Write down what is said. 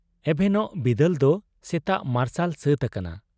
ᱮᱵᱷᱮᱱᱚᱜ ᱵᱤᱫᱟᱹᱞ ᱫᱚ ᱥᱮᱛᱟᱜ ᱢᱟᱨᱥᱟᱞ ᱥᱟᱹᱛ ᱟᱠᱟᱱᱟ ᱾